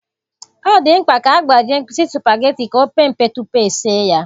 Ọ dị mkpa ka a gbajie mkpịsị sụpageti ka o pee mpe tupu esi ya.